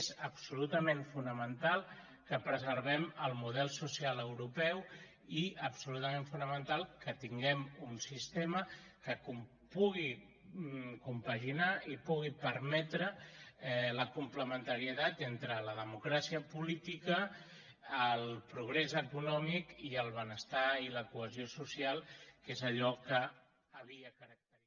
és absolutament fonamental que preservem el model social europeu i absolutament fonamental que tinguem un sistema que pugui compaginar i pugui permetre la complementarietat entre la democràcia política el progrés econòmic i el benestar i la cohesió social que és allò que havia caracteritzat